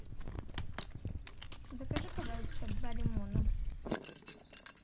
закажи пожалуйста два лимона